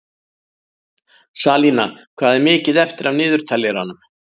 Salína, hvað er mikið eftir af niðurteljaranum?